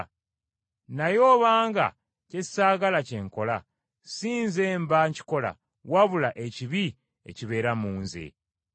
Naye obanga kye saagala kye nkola, si nze mba nkikola, wabula ekibi ekibeera mu nze.